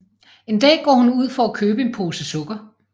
En dag går hun ud for at købe en pose sukker